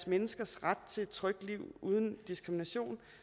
menneskers ret til et trygt liv uden diskrimination